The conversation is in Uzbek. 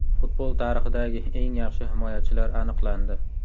Futbol tarixidagi eng yaxshi himoyachilar aniqlandi.